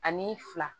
Ani fila